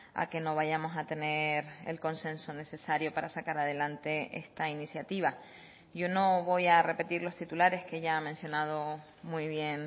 a que no vayamos a tener el consenso necesario para sacar adelante esta iniciativa yo no voy a repetir los titulares que ya ha mencionado muy bien